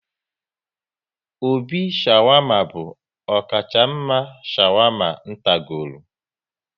Obi shawarma bụ ọkacha mma n' shawama n tagoro